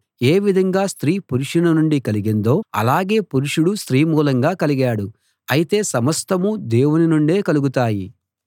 ఏ విధంగా స్త్రీ పురుషుని నుండి కలిగిందో అలాగే పురుషుడు స్త్రీ మూలంగా కలిగాడు అయితే సమస్తమూ దేవునినుండే కలుగుతాయి